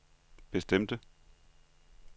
bestemte